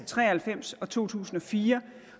tre og halvfems og to tusind og fire